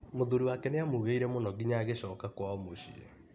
Mũthuri wake nĩamũgiire mũno nginya agĩcoka kwao mũciĩ.